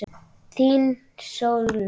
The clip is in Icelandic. Þín, Sólrún.